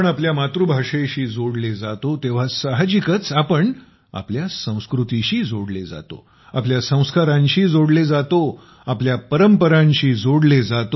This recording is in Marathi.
मातृभाषेशी जोडले जातो तेव्हा साहजिकच आपण आपल्या संस्कृतीशी जोडले जातो आपल्या संस्कारांशी जोडले जातो आपल्या परंपरांशी जोडले जातो